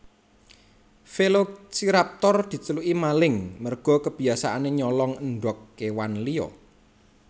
Velociraptor diceluki maling merga kebiasaanè nyolong endhog kèwan liya